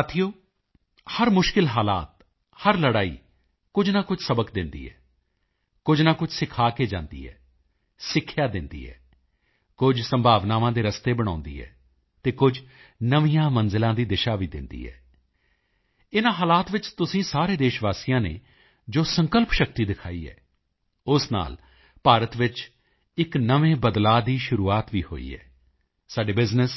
ਸਾਥੀਓ ਹਰ ਮੁਸ਼ਕਿਲ ਹਾਲਾਤ ਹਰ ਲੜਾਈ ਕੁਝ ਨਾ ਕੁਝ ਸਬਕ ਦਿੰਦੀ ਹੈ ਕੁਝ ਨਾ ਕੁਝ ਸਿਖਾ ਕੇ ਜਾਂਦੀ ਹੈ ਸਿੱਖਿਆ ਦਿੰਦੀ ਹੈ ਕੁਝ ਸੰਭਾਵਨਾਵਾਂ ਦੇ ਰਸਤੇ ਬਣਾਉਂਦੀ ਹੈ ਅਤੇ ਕੁਝ ਨਵੀਆਂ ਮੰਜ਼ਿਲਾਂ ਦੀ ਦਿਸ਼ਾ ਵੀ ਦਿੰਦੀ ਹੈ ਇਨ੍ਹਾਂ ਹਾਲਾਤ ਵਿੱਚ ਤੁਸੀਂ ਸਾਰੇ ਦੇਸ਼ਵਾਸੀਆਂ ਨੇ ਜੋ ਸੰਕਲਪ ਸ਼ਕਤੀ ਦਿਖਾਈ ਹੈ ਉਸ ਨਾਲ ਭਾਰਤ ਵਿੱਚ ਇੱਕ ਨਵੇਂ ਬਦਲਾਅ ਦੀ ਸ਼ੁਰੂਆਤ ਵੀ ਹੋਈ ਹੈ ਸਾਡੇ ਬਿਜ਼ਨੈੱਸ